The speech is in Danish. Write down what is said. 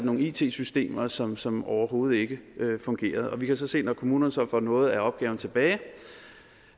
nogle it systemer som som overhovedet ikke fungerede og vi kan så se at når kommunerne så får noget af opgaven tilbage